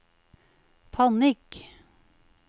panikk